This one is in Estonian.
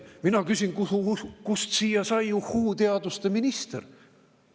Mina küsin, kust siia sai uhhuu-teaduste minister.